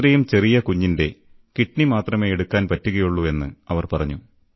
ഇത്രയും ചെറിയ കുഞ്ഞിന്റെ കിഡ്നി മാത്രമേ എടുക്കാൻ പറ്റുകയുള്ളു എന്ന് അവർ പറഞ്ഞു